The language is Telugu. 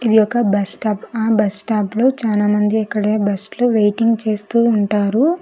ఇది ఒక బస్ స్టాప్ ఆ బస్ స్టాప్ లో చాలామంది ఇక్కడే బస్సులు వెయిటింగ్ చేస్తూ ఉంటారు.